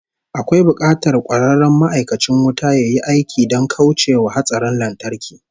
Akwai bukatar kwararren ma'aikacin wuta yayi aiki don kauce wa hatsarin lantarki